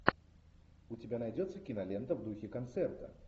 у тебя найдется кинолента в духе концерта